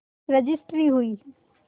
registry हुई